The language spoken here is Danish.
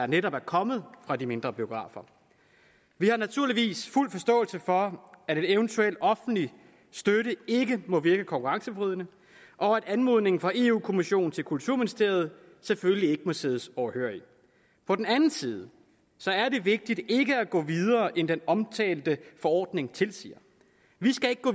netop er kommet fra de mindre biografer vi har naturligvis fuld forståelse for at en eventuel offentlig støtte ikke må virke konkurrenceforvridende og at anmodningen fra europa kommissionen til kulturministeriet selvfølgelig ikke må siddes overhørig på den anden side er det vigtigt ikke at gå videre end den omtalte forordning tilsiger vi skal ikke gå